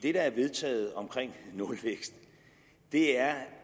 er vedtaget omkring nulvækst er